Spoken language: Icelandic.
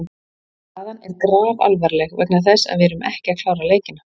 Staðan er grafalvarleg vegna þess að við erum ekki að klára leikina.